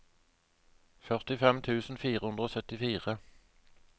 førtifem tusen fire hundre og syttifire